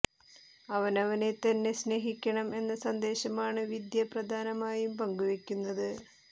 അവനവനെ തന്നെ സ്നേഹിക്കണം എന്ന സന്ദേശമാണ് വിദ്യ പ്രധാനമായും പങ്കു വെക്കുന്നത്